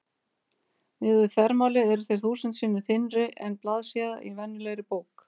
Miðað við þvermálið eru þeir þúsund sinnum þynnri en blaðsíða í venjulegri bók.